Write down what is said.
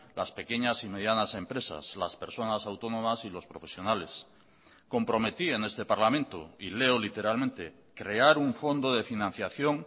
las pequeñas y medianas empresas las personas autónomas y los profesionales comprometí en este parlamento y leo literalmente crear un fondo de financiación